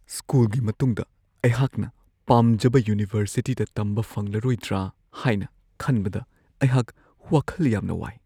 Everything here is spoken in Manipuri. ꯁ꯭ꯀꯨꯜꯒꯤ ꯃꯇꯨꯡꯗ ꯑꯩꯍꯥꯛꯅ ꯄꯥꯝꯖꯕ ꯌꯨꯅꯤꯚꯔꯁꯤꯇꯤꯗ ꯇꯝꯕ ꯐꯪꯂꯔꯣꯏꯗ꯭ꯔꯥ ꯍꯥꯏꯅ ꯈꯟꯕꯗ ꯑꯩꯍꯥꯛ ꯋꯥꯈꯜ ꯌꯥꯝꯅ ꯋꯥꯏ ꯫